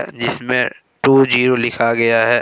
जिसमे two zero लिखा गया है।